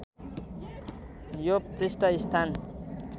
यो पृष्ठ स्थान